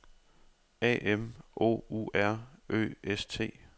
A M O U R Ø S T